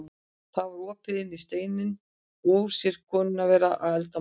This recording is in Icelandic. Það var opið inn í steininn og hún sér konuna vera að elda matinn.